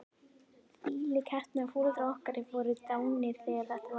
Þvílík heppni að foreldrar okkar voru dánir þegar þetta var.